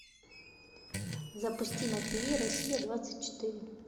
запусти на тв россия двадцать четыре